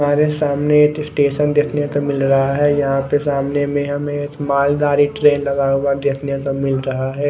हमारे सामने एक स्टेशन देखने को मिल रहा है। यहां पे सामने में हमें एक मालगाड़ी ट्रेन लगा हुआ देखने मिल रहा है।